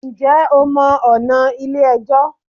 Njẹ́ o mọ ọ̀nà Ilé ẹjọ́?